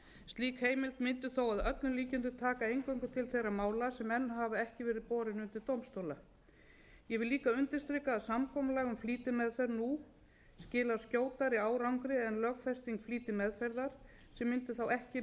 öllum líkindum taka eingöngu til þeirra mála sem enn hafa ekki verið borin undir dómstóla ég vil líka undirstrika samkomulag um flýtimeðferð nú skilar skjótari árangri en lögfesting flýtimeðferðar sem mundi þá ekki